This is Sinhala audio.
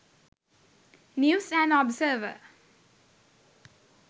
news and observer